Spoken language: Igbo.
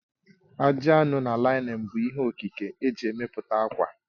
Ajị anụ na laịnin bụ ihe Okike eji emepụta ákwà